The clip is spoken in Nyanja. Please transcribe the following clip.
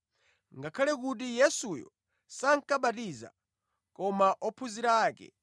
(ngakhale kuti Yesuyo sankabatiza, koma ophunzira ake).